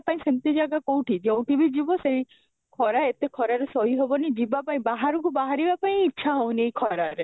ପାଇଁ ସେମିତି ଜାଗା କୋଉଠି ଯଉଠି ବି ଯିବ ସେଇ ଖରା ଏତେ ଖରାରେ ସହି ହବନି ଜୀବ ପାଇଁ ବାହାରକୁ ବାହାରିବା ପାଇଁ ଇଚ୍ଛା ହଉନି ଏଇ ଖରାରେ